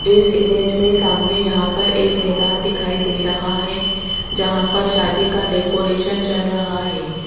इस इमेज में सामने यहां पर एक मैदान दिखाई दे रहा है जहां पर शादी का डेकोरेशन चल रहा है।